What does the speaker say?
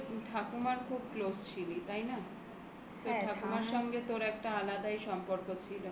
তুই তো তোর ঠাকুমার খুব close ছিলি তাই না? তো ঠাকুমার সঙ্গে তোর একটা আলাদাই সম্পর্ক ছিল.